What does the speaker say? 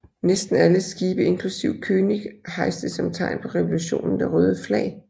Næsten alle skibe inklusive König hejste som tegn på revolutionen det røde flag